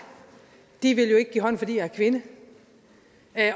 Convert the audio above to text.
vil jo ikke give hånd fordi jeg er kvinde